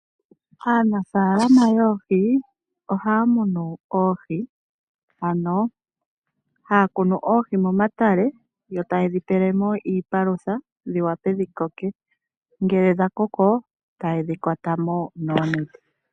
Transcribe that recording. Aanafaalama yoohi ohaya munu oohi ano haya kunu oohi momatale yo tayedhi pele mo iipalutha dhi wape dhi koke, ngele dha koko tayedhi kwata mo noonete.